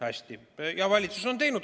Hästi.